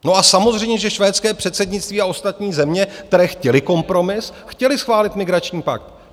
No a samozřejmě že švédské předsednictví a ostatní země, které chtěly kompromis, chtěly schválit migrační pakt.